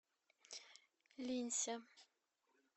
линься